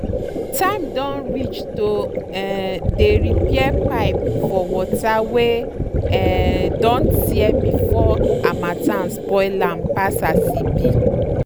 time don reach to um dey repair pipe for water wey um don tear before harmattan spoil am pass as e be.